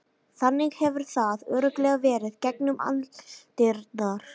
Þannig hefur það örugglega verið gegnum aldirnar.